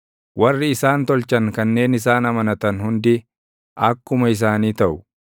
Warri isaan tolchan kanneen isaan amanatan hundi akkuma isaanii taʼu.